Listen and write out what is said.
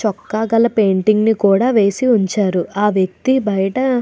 చొక్కా గల పెయింటింగ్ ను వేసి ఉంచారు ఆ వ్యక్తి బయట --